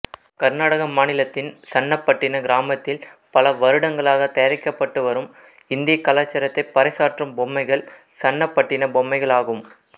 கர்நாடக மாநிலத்தின் சன்னபட்டின கிராமத்தில் பல வருடங்களாக தயாரிக்கப்பட்டு வரும் இந்திய கலாச்சாரத்தை பறைசாற்றும் பொம்மைகள் சன்னபட்டின பொம்மைகள் ஆகும்